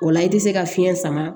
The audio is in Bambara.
O la i tɛ se ka fiɲɛ sama